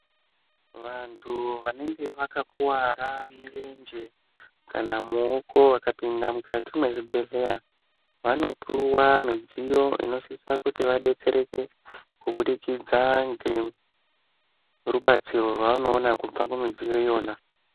Vantu vanenge vakakuvara mirenje kana muoko vakapinda mukati mezvibhedhleya vanopuwa midziyo inosisa kuti vabetsereke, kubudikidza ngerubatsiro rwavanoona kubva kumidziyo iyona.